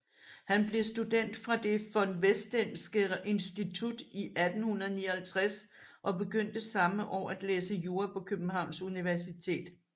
Han blev student fra det von Westenske Institut i 1859 og begyndte samme år at læse jura på Københavns Universitet